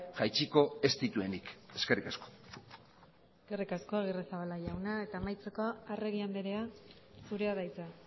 jaitsiko ez dituenik eskerrik asko eskerrik asko agirrezabala jauna eta amaitzeko arregi andrea zurea da hitza